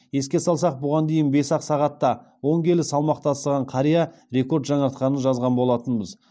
еске салсақ бұған дейін бес ақ сағатта он келі салмақ тастаған қария рекорд жаңартқанын жазған болатынбыз